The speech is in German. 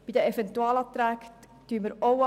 Auch die Eventualanträge lehnen wir ab.